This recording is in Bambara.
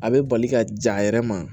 A bɛ bali ka ja a yɛrɛ ma